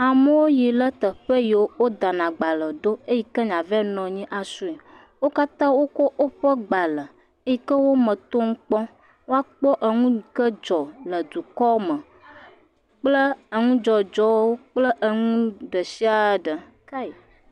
Amewo yi ɖe teƒe yike woda na agbalẽ ɖo va nɔ anyi asrɔe. Wo katã wò kɔ woƒe gbalẽ yike wòme yike wòme tom kpɔm be woakpɔ enu yike dzɔ le dukɔ me kple enu dzɔdzɔ kple enu ɖe asi ɖe.